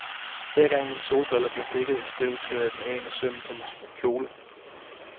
Hver gang mine solbriller blev dækket af støv, tørrede jeg dem af med sømmen på min kjole.